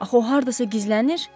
Axı o hardasa gizlənir?